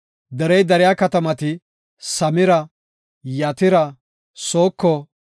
Derey dariya katamati, Samira, Yatira, Sooko,